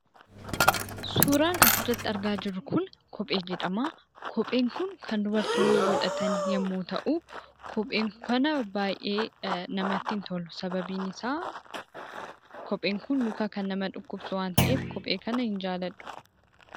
Suuraan asirratti argaa jirru kun kophee jedhama. Kopheen kun kan dubartoonni godhatan yemmuu ta'u, kophee kana baayyee namatti hin tolu. Sababiin isaa kopheen kun luka kan nama dhukkubsu waan ta'eef, kophee kana hin jaaladhu.